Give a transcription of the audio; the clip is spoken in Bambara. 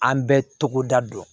An bɛ togoda dɔn